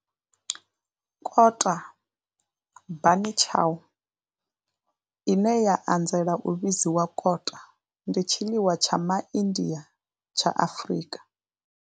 Kota bunny chow, ine ya anzela u vhidzwa kota, ndi tshiḽiwa tsha MaIndia tsha Afrika.